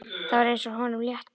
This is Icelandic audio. Það var eins og honum létti.